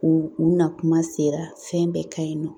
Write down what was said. U u nakuma sera fɛn bɛɛ ka ɲi nɔ